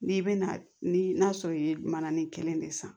N'i bɛna ni n'a sɔrɔ i ye mananin kelen de san